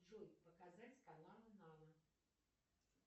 джой показать каналы нано